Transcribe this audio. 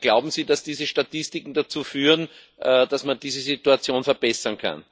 Glauben Sie, dass diese Statistiken dazu führen, dass man diese Situation verbessern kann?